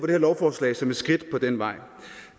her lovforslag som et skridt på den vej